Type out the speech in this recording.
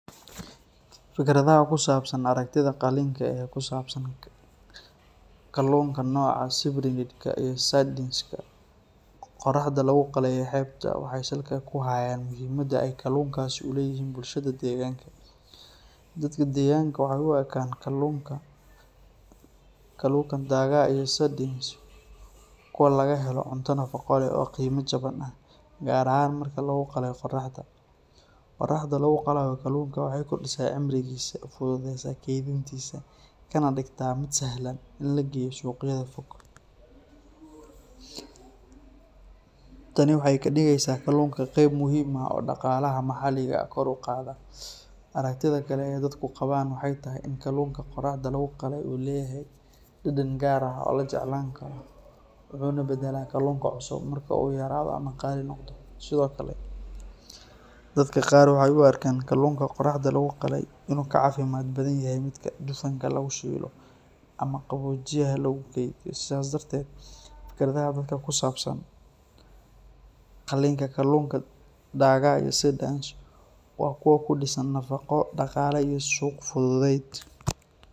Fikradaha ku saabsan aragtida qalinka ee ku saabsan kalluunka nooca Cyprinid-ka iyo Sardines-ka qorraxda lagu qalay ee xeebta, waxay salka ku hayaan muhiimadda ay kalluunkaasi u leeyihiin bulshada deegaanka. Dadka deegaanka waxay u arkaan kalluunka Dagaa iyo Sardines kuwo laga helo cunto nafaqo leh oo qiime jaban ah, gaar ahaan marka lagu qalay qorraxda. Qorraxda lagu qalayo kalluunka waxay kordhisaa cimrigiisa, fududeysaa kaydintiisa, kana dhigtaa mid sahlan in la geeyo suuqyada fog. Tani waxay ka dhigeysaa kalluunka qeyb muhiim ah oo dhaqaalaha maxalliga ah kor u qaada. Aragtida kale ee dadku qabaan waxay tahay in kalluunka qorraxda lagu qalay uu leeyahay dhadhan gaar ah oo la jeclaan karo, wuxuuna badalaa kalluunka cusub marka uu yaraado ama qaali noqdo. Sidoo kale, dadka qaar waxay u arkaan kalluunka qorraxda lagu qalay in uu ka caafimaad badan yahay midka dufanka lagu shiilo ama qaboojiyaha lagu kaydiyo. Sidaas darteed, fikradaha dadka ku saabsan qalinka kalluunka Dagaa iyo Sardines waa kuwo ku dhisan nafqo, dhaqaale, iyo suuq-fudeyd